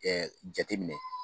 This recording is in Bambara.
jate minɛ.